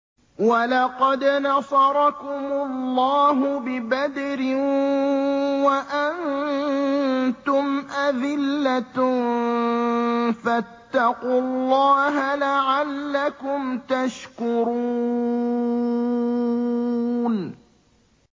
وَلَقَدْ نَصَرَكُمُ اللَّهُ بِبَدْرٍ وَأَنتُمْ أَذِلَّةٌ ۖ فَاتَّقُوا اللَّهَ لَعَلَّكُمْ تَشْكُرُونَ